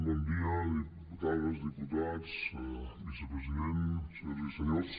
bon dia diputades diputats vicepresident senyores i senyors